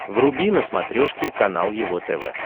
вруби на смотрешке канал его тв